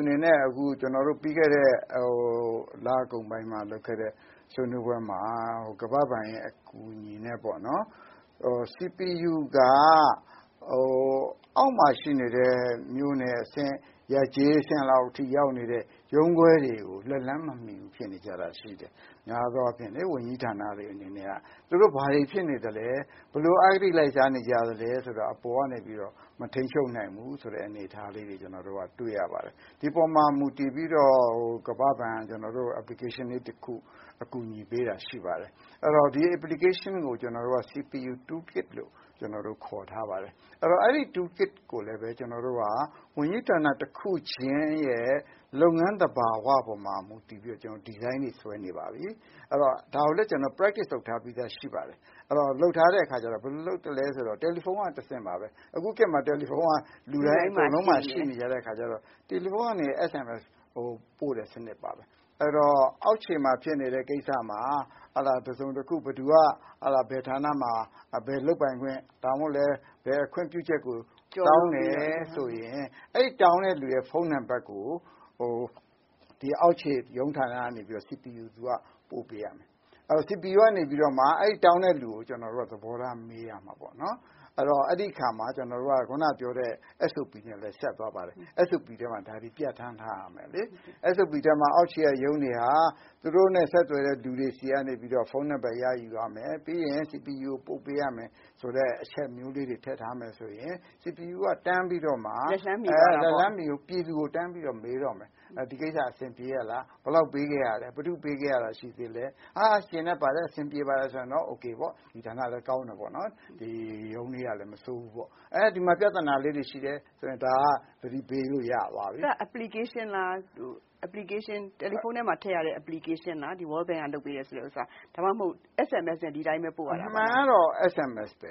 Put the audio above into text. အနေနဲ့ ကျနော်တို့ ပြီးခဲ့တဲ့ လကုန်ပိုင်းမှာ လုပ်ခဲ့တဲ့ ဆွေးနွေးပွဲမှာ ကမ္ဘာ့ဘဏ်အကူအညီနဲ့ပေါ့နော်။ CPU က အောက်မှာ ရှိနေတဲ့ မြို့နယ်အဆင့် ရပ်ကျေးအဆင့် ရုံးခွဲတွေကို လက်လှမ်းမမှီတာရှိနေတယ်။ များသောအားဖြင့် ဝန်ကြီးဌာနတွေအနေနဲ့က သူတို့ ဘာတွေဖြစ်နေသလဲ၊ ဘယ်လိုအဂတိ လိုက်စားနေကြသလဲ ဆိုတာကို အပေါ်ကနေပြီးတော့ မထိန်းချုပ်နိုင်ဘူးဆိုတဲ့အနေအထားလေးတွေ ကျနော်တို့ တွေ့ရပါတယ်။ ဒီအပေါ်မှာ ကမ္ဘာ့ဘဏ်က ကျနော်တို့ကို application လေးတခု အကူအညီပေးတာ ရှိပါတယ်။ အဲဒီတော့ ဒီ Application ကို CPU tool kit လို့ခေါ်ထားပါတယ်။ အဲဒါကိုလည်း ကျနော်တို့ ဝန်ကြီးဌာန တခုချင်းရဲ့ လုပ်ငန်းသဘာဝပေါ် မူတည်ပြီးတော့ ဒီဇိုင်းတွေ ဆွဲနေပါပြီ။ ဒါကိုလည်း ကျနော်တို့ လေ့ကျင့်ထားပြီးသားရှိပါတယ်။ အဲဒါ ဘယ်လိုလုပ်သလဲဆိုတော့ တယ်လီဖုန်းက တဆင့်ပါပဲ။ အခုခေတ်မှာ တယ်လီဖုန်းက လူတိုင်းမှာ ရှိနေကြတဲ့အခါကျတော့ တယ်လီဖုန်းက SMS ပို့တဲ့စနစ်တွေပါမယ်။ အဲဒီတော့ အောက်ခြေမှာဖြစ်နေတဲ့ ကိစ္စမှာ ဥပမာ- ဘယ်ဌာနမှာ ဘယ်ခွင့်ပြုချက်ကို တောင်းတယ်ဆိုရင် အဲဒီတောင်းတဲ့လူရဲ့ ဖုန်းနံပတ်ကို အောက်ခြေရုံးဌာနကတဆင့် CPU က ပို့ပေးရမယ်။ အဲဒီတော့ CPU ကနေပြီးမှ အဲဒီတောင်းတဲ့လူကို သဘောထားမေးရမှာပေါ့နော်။ အဲဒီတော့ အဲဒီအခါမှာ ကျနော်တို့ ခုနကပြောတဲ့အတိုင်း အက်စ်အိုပီထဲမှာ ပြဌာန်းထားရမယ်လေ။ အက်စ်အိုပီထဲမှာ အောက်ခြေက ရုံးတွေက သူတို့နဲ့ ဆက်သွယ်တဲ့ လူတွေဆီကနေပြီးတော့ ဖုန်းနံပတ် ရယူရမယ် ပြီးရင် CPU ကိုပို့ပေးရမယ်ဆိုတဲ့ အချက်မျိုးလေး ထည့်ထားမယ်ဆိုရင် CPU က တန်းပြီးတော့မှ ပြည်သူကို မေးတော့မယ် ။ ဒီကိစ္စ အဆင်ပြေရဲ့လား ၊ ဘယ်လောက်ပေးခဲ့ရသလဲ၊ ဘယ်သူ့ကို ပေးခဲ့ရတာ ရှိသေးသလဲ ။ ကျေနပ်တယ် အဆင်ပြေတယ်ဆိုရင်တော့ အိုကေပေါ့ ၊ ဒီဌာနလည်း ကောင်းတယ် ရုံးလေးကလည်း မဆိုးဘူးပေါ့။ ဒီမှာ ပြဿနာလေးတွေရှိတယ်ဆိုရင် ဒါက သတိပေး လို့ရသွားပြီ။ အဲဒါက Application လား တယ်လီဖုန်းထဲမှာ ထည့်လို့ရတဲ့ Application လား World Bank ကလုပ်ပေးတဲ့ဟာ၊ ဒါမှမဟုတ် SMS နဲ့ပို့ရတာလား။ အမှန်ကတော့ SMS ပဲ